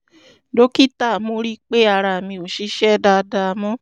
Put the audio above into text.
dókítà mo rí i pé ara mi ò ṣiṣẹ́ dáadáa mọ́